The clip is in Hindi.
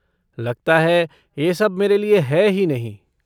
लगता है यह सब मेरे लिए है ही नहीं।